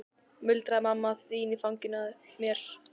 muldraði mamma þín í fanginu á mér.